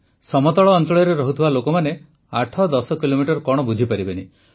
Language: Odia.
ସମତଳ ଅଂଚଳରେ ରହୁଥିବା ଲୋକମାନେ ୮୧୦ କିଲୋମିଟର କଣ ବୁଝିପାରିବେନି